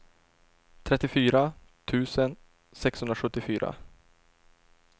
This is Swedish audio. trettiofyra tusen sexhundrasjuttiofyra